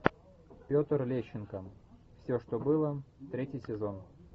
петр лещенко все что было третий сезон